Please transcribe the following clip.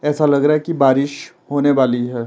ऐसा लग रहा है कि बारिश होने वाली है।